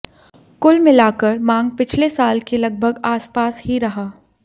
कुल मिलाकर मांग पिछले साल के लगभग आसपास ही रहा